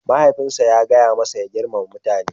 Mahaifinsa ya gaya masa ya girmama mutane